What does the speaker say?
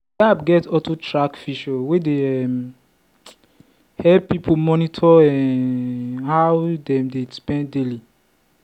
the app get auto-track feature wey dey um help people monitor um how dem dey spend daily.